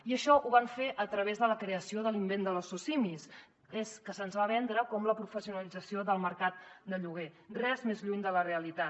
i això ho van fer a través de la creació de l’invent de les socimis que se’ns va vendre com la professionalització del mercat de lloguer res més lluny de la realitat